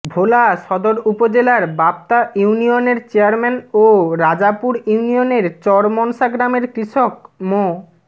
ভোলা সদর উপজেলার বাপ্তা ইউনিয়নের চেয়ারম্যান ও রাজাপুর ইউনিয়নের চরমনসা গ্রামের কৃষক মো